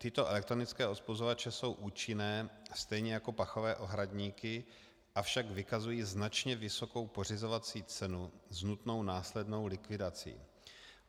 Tyto elektronické odpuzovače jsou účinné stejně jako pachové ohradníky, avšak vykazují značně vysokou pořizovací cenu s nutnou následnou likvidací.